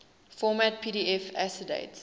format pdf accessdate